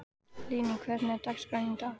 Lingný, hvernig er dagskráin í dag?